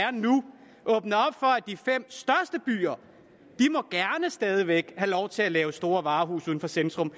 de fem største byer stadig væk har lov til at lave store varehuse uden for centrum